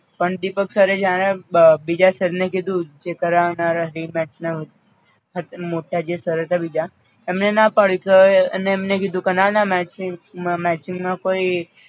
પણ દીપકસરે જ્યારે બ બીજા સરને કીધું કે જે કરાવનારા rematch ના હત મોટા જે સર હતા બીજા એમને ના પાડી કે હવે અને એમને કીધું કે ના ના match ની matching માં કોઈ